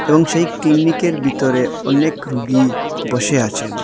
এবং সেই ক্লিনিকের ভিতরে অনেক রুগী বসে আছেন।